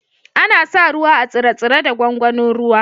Ana sa ruwa a tsire-tsire da gwangwanin ruwa.